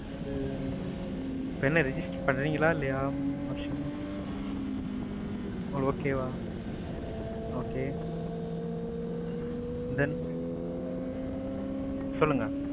உம் இப்ப என்ன register பண்றிங்களா, இல்லையா? உங்களுக்கு okay வா? okay then சொல்லுங்க.